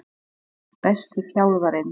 Besti þjálfarinn?